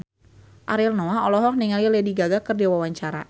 Ariel Noah olohok ningali Lady Gaga keur diwawancara